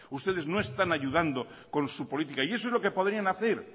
ustedes no están ayudando con su política y eso es lo que podrían hacer